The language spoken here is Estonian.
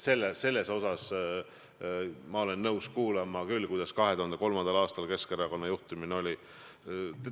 Nii et ma olen nõus kuulama küll, kuidas 2003. aastal Keskerakonna juhtimine käis.